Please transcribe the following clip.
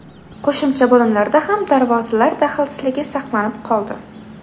Qo‘shimcha bo‘limlarda ham darvozalar daxlsizligi saqlanib qoldi.